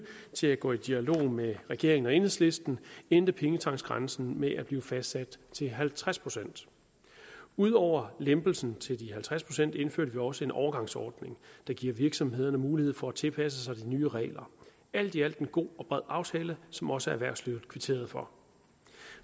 til at gå i dialog med regeringen og enhedslisten endte pengetanksgrænsen med at blive fastsat til halvtreds procent ud over lempelsen til de halvtreds procent indførte vi også en overgangsordning der giver virksomhederne mulighed for at tilpasse sig de nye regler alt i alt en god og bred aftale som også erhvervslivet kvitterede for